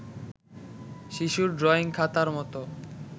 শিশুর ড্রয়িং খাতার মতো